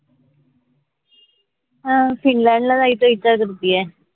हां फिनलॅंड ला जायचा विचार करतीये